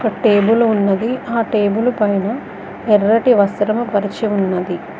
Table ఉన్నది ఆ table పైన ఎర్రటి వస్త్రము పరిచి ఉన్నది.